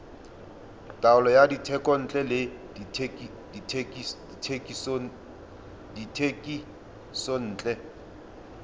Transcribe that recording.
taolo ya dithekontle le dithekisontle